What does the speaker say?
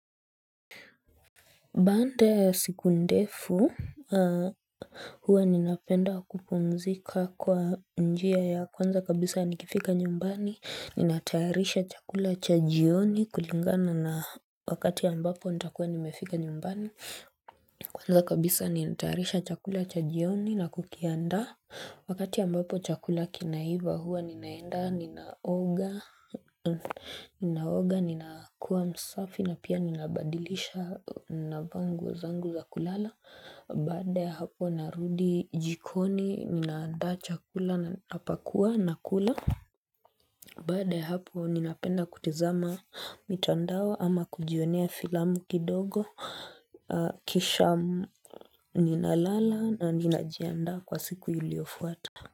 Baada siku ndefu, huwa napenda kupumzika kwa njia ya kwanza kabisa nikifika nyumbani, natayarisha chakula cha jioni kulingana na wakati ambapo nitakuwa nimefika nyumbani. Kwanza kabisa ninatayarisha chakula cha jioni na kukiandaa. Wakati ambapo chakula kinaiva, huwa ninaenda ninaoga ninakuwa msafi na pia nabadilisha navaa zangu za kulala Baada hapo narudi jikoni ninaandaa chakula, napakua nakula Baada ya hapo ninapenda kutazama mitandao ama kujionea filamu kidogo kisha ninalala na ninajiandaa kwa siku iliyofuata.